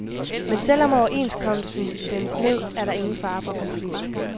Men selv om overenskomsten stemmes ned, er der ingen fare for konflikt.